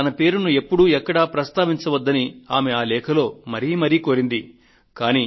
తన పేరును ఎప్పుడు ఎక్కడా ప్రస్తావించవద్దని ఆ లేఖలో ఆవిడ మరీమరీ ప్రాథేయపడ్డారు